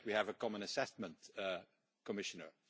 I think that we have a common assessment, Commissioner.